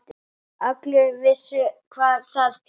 Allir vissu hvað það þýddi.